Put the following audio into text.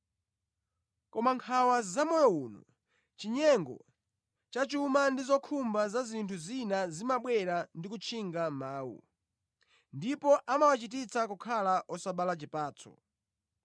koma nkhawa zamoyo uno, chinyengo cha chuma ndi zokhumba za zinthu zina zimabwera ndi kutchinga mawu, ndipo amawachititsa kukhala osabala chipatso.